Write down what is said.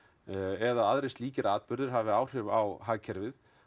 eða aðrir slíkir atburðir hafi áhrif á hagkerfið